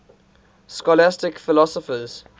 scholastic philosophers